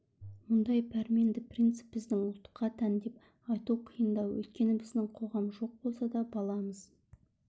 мұндай пәрменді принцип біздің ұлтқа тән деп айту қиындау өйткені біздің қоғам жоқ болса да баламыз